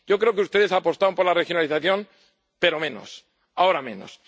malo? Yo creo que ustedes apostaron por la regionalización, pero menos, ahora menos.